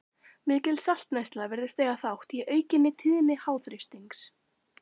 Mikil saltneysla virðist eiga þátt í aukinni tíðni háþrýstings.